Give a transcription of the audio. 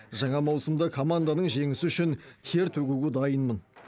жаңа маусымда команданың жеңісі үшін тер төгуге дайынмын